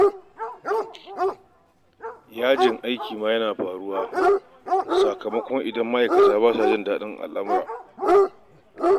Yajin aiki ma yana faruwa idan ma'aikata ba sa jin dadin lamurra